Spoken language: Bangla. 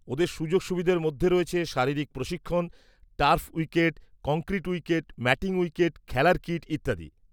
ওদের সুযোগ সুবিধের মধ্যে রয়েছে শারীরিক প্রশিক্ষণ, turf wicket, concrete wicket, matting wicket, খেলার কিট ইত্যাদি।